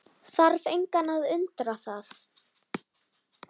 Þarf engan að undra það.